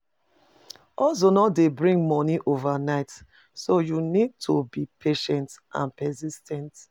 Hustle no dey bring monie overnight, so you need to be patient and persis ten t.